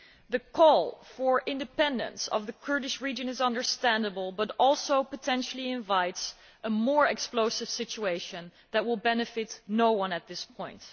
The call for independence of the Kurdish region is understandable but also potentially invites a more explosive situation that will benefit no one at this point.